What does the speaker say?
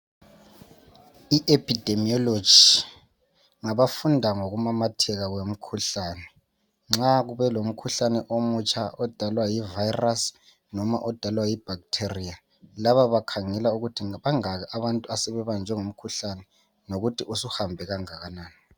I epidemiology ngabafunda ngokumemetheka kwemikhuhlane, nxa kube lomkhuhlane omutsha odalwa yivirus, loba odalwa yi bacteria, laba bakhangela ukuthi bangaki abantu asebebanjawe ngumkhuhlane lokuthi suhambe kanganani.